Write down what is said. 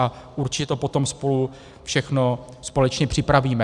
A určitě to potom spolu všechno společně připravíme.